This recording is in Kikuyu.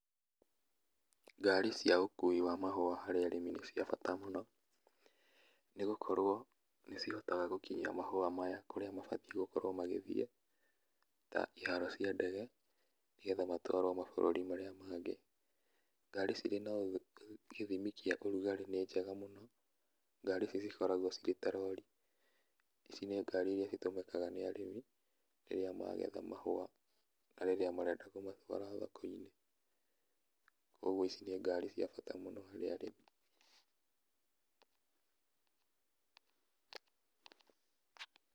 Ngari cia ũkui wa mahũa harĩ arĩmi nĩ cia bata mũno, nĩ gũkorwo nĩ cihotaga gũkinyia mahũa maya kũrĩa mabatiĩ gũkorwo magĩthiĩ ta iharo cia ndege, nĩgetha matwarwo mabũrũri marĩa mangĩ. Ngari cirĩ na gĩthimi kĩa ũrugarĩ nĩ njega mũno. Ngari ici cikoragwo irĩ ta rori. Ici nĩ ngari iria citũmĩkaga nĩ arĩmi, rĩrĩa magetha mahũa na rĩrĩa marenda kũmatwara thoko-inĩ. Kũguo ici nĩ ngari cia bata mũno harĩ arĩmi.